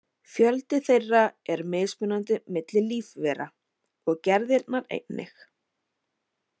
Fjöldi þeirra er mismunandi milli lífvera og gerðirnar einnig.